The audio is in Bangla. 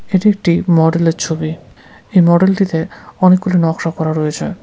এটি একটি মডেল -এর ছবি এই মডেল -টিতে অনেকগুলি নকশা করা রয়েছে।